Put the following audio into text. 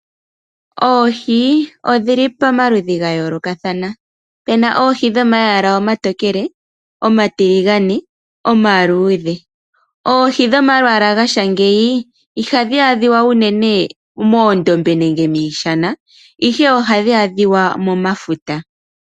Oohi odhili pamaludhi ga yoolokathana pena oohi dhomayala omatokele omatiligane ,omaluudhe oohi dhomalwaala gatya ngeyi ihadhi adhika uunene moondombe nenge miishana ihe ohadhi adhika momafuta.